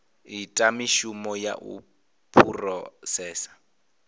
ita mishumo ya u phurosesa